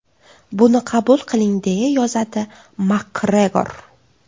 Buni qabul qiling”, deya yozadi Makgregor.